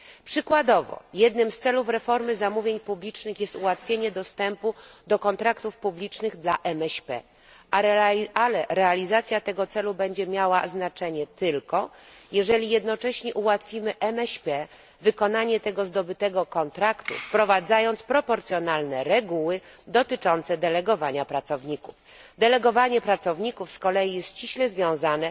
Przykładowo jednym z celów reformy zamówień publicznych jest ułatwienie MŚP dostępu do kontraktów publicznych, ale realizacja tego celu będzie miała znaczenie tylko, jeżeli jednocześnie ułatwimy MŚP wykonanie tego zdobytego kontraktu, wprowadzając proporcjonalne reguły dotyczące delegowania pracowników. Delegowanie pracowników jest z kolei ściśle związane